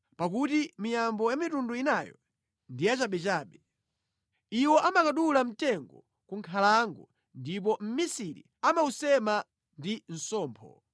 Pakuti miyambo ya mitundu inayo ndiyachabechabe. Iwo amakadula mtengo ku nkhalango ndipo mmisiri amawusema ndi sompho.